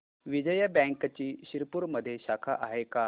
विजया बँकची शिरपूरमध्ये शाखा आहे का